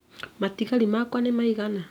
Matigari makwa nĩ maigana